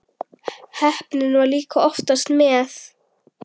Heppnin var líka oftast með.